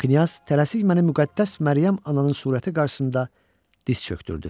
Knyaz tələsik məni müqəddəs Məryəm ananın surəti qarşısında diz çökdürdü.